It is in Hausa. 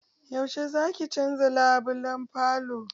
Yaushe zaki canza labulan falon?